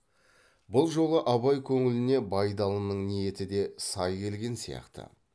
бұл жолы абай көңіліне байдалының ниеті де сай келген сияқты